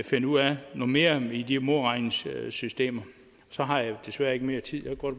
finde ud af noget mere i de modregningssystemer så har jeg desværre ikke mere tid jeg kunne